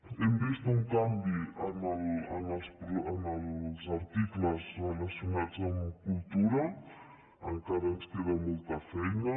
hem vist un canvi en els articles relacionats amb cultura encara ens queda molta feina